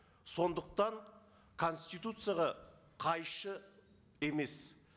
сондықтан конституцияға қайшы емес